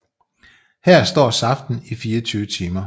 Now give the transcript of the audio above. Her står saften i 24 timer